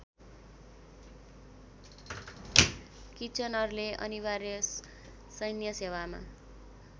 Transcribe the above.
किचनरले अनिवार्य सैन्यसेवामा